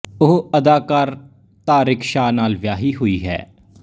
ਉਹ ਅਦਾਕਾਰ ਤਾਰਿਕ ਸ਼ਾਹ ਨਾਲ ਵਿਆਹੀ ਹੋਈ ਹੈ